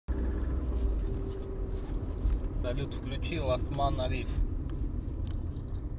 салют включи ласт ман алив